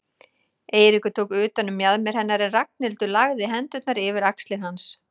Eiríkur tók utan um mjaðmir hennar en Ragnhildur lagði hendurnar yfir axlir hans.